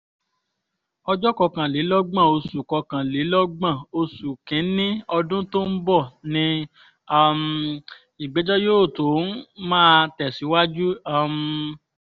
ọjọ́ kọkànlélọ́gbọ̀n oṣù kọkànlélọ́gbọ̀n oṣù kín-ín-ní ọdún tó ń bọ̀ ní um ìgbẹ́jọ́ yóò tún máa tẹ̀síwájú um